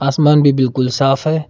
आसमान भी बिल्कुल साफ है।